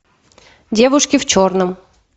девушки в черном